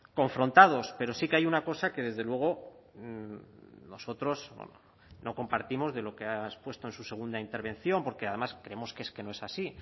confrontados pero sí que hay una cosa que desde luego nosotros no compartimos de lo que ha expuesto en su segunda intervención porque además creemos que es que no es así